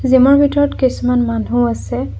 Gym ৰ ভিতৰত কিছুমান মানুহ আছে।